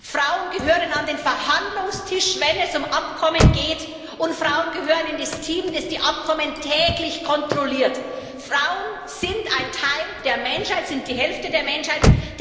Viertens Frauen gehören an den Verhandlungstisch, wenn es um Abkommen geht. Und fünftens Frauen gehören in das Team, das die Abkommen täglich kontrolliert. Frauen sind ein Teil der Menschheit, sind die Hälfte der Menschheit.